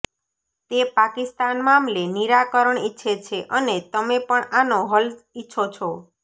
તે પાકિસ્તાન મામલે નિરાકરણ ઈચ્છે છે અને તમે પણ આનો હલ ઈચ્છો છો